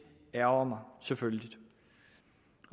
ærgrer mig selvfølgelig